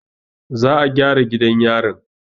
Za a gyara gidan yarin.